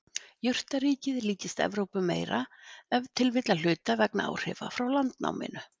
Jurtaríkið líkist Evrópu meira, ef til vill að hluta vegna áhrifa frá landnáminu.